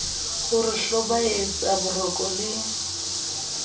ho re hlobaetsa boroko le